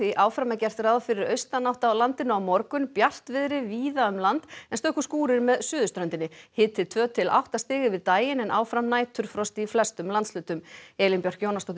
áfram er gert ráð fyrir austanátt á landinu á morgun bjartviðri víða um land en stöku skúrir með suðurströndinni hiti tvö til átta stig yfir daginn en áfram næturfrost í flestum landshlutum Elín Björk Jónasdóttir